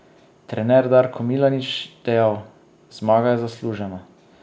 Trener Darko Milanič dejal: "Zmaga je zaslužena.